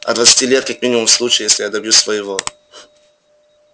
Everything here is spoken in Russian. от двадцати лет как минимум в случае если я добьюсь своего